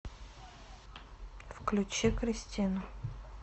включи кристину